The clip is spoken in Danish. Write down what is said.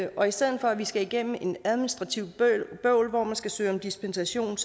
og i stedet for at vi skal igennem administrativt bøvl hvor man skal søge om dispensation